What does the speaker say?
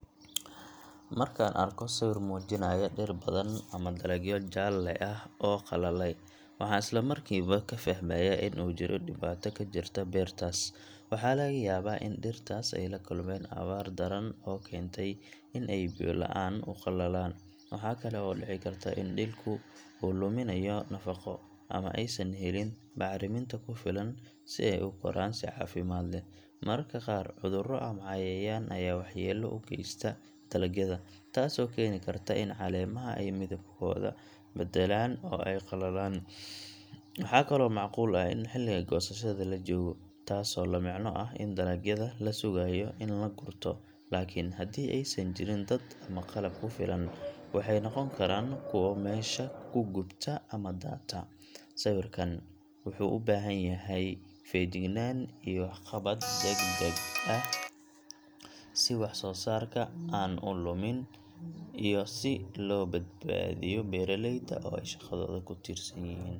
Markaan arko sawir muujinaya dhir badan ama dalagyo jaalle ah ama qalalay, waxaan isla markiiba ka fahmayaa in uu jiro dhibaato ka jirta beertaas. Waxaa laga yaabaa in dhirtaas ay la kulmeen abaar daran oo keentay in ay biyo la’aan u qalalaan. Waxa kale oo dhici karta in dhulku uu luminayo nafaqo, ama aysan helin bacriminta ku filan si ay u koraan si caafimaad leh. Mararka qaar, cudurro ama cayayaan ayaa waxyeello u geysta dalagyada, taasoo keeni karta in caleemaha ay midabkooda beddelaan oo ay qalalaan. Waxaa kaloo macquul ah in xilliga goosashada la joogo, taasoo la micno ah in dalagyada la sugayo in la gurto, laakiin haddii aysan jirin dad ama qalab ku filan, waxay noqon karaan kuwo meesha ku gubta ama daata. Sawirkan wuxuu u baahan yahay feejignaan iyo wax-ka-qabad degdeg ah, si wax-soo-saarka aan u lumin iyo si loo badbaadiyo beeraleyda oo ay shaqadooda ku tiirsan yihiin.